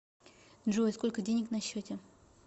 джой сколько денег на счете